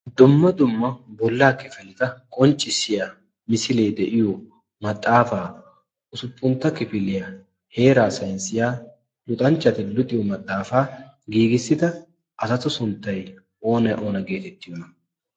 dumma dumma bollaa kifilita qonccissiya misilee de'iyo maxaafaa usuppuntta kifiliyaa heeraa sainssiya luxanchchati luxiyo maxaafaa giigissita asatu sunttay oona oona geetettiyoona?